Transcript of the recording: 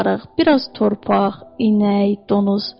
Bir az torpaq, inək, donuz.